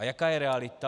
A jaká je realita?